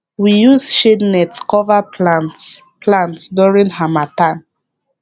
we use shade net cover plants plants during harmattan